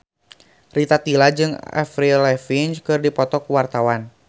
Rita Tila jeung Avril Lavigne keur dipoto ku wartawan